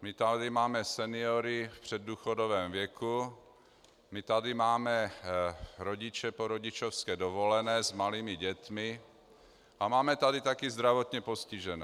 my tady máme seniory v předdůchodovém věku, my tady máme rodiče po rodičovské dovolené s malými dětmi a máme tady taky zdravotně postižené.